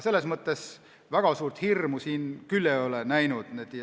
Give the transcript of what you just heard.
Ma väga suurt hirmu siin küll ei ole näinud.